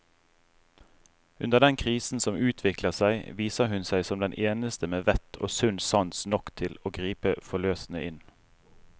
Under den krisen som utvikler seg, viser hun seg som den eneste med vett og sunn sans nok til å gripe forløsende inn.